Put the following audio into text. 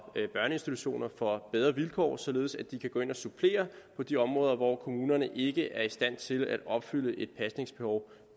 børneinstitutioner får bedre vilkår således at de kan gå ind og supplere på de områder hvor kommunerne ikke er i stand til at opfylde et pasningsbehov